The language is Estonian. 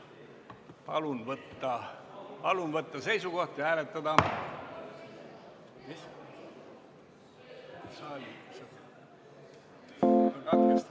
Palun võtta seisukoht ja hääletada!